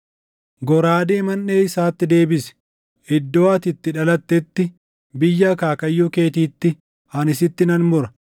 Goraadee manʼee isaatti deebisi; iddoo ati itti dhalattetti, biyya akaakayyuu keetiitti, ani sitti nan mura.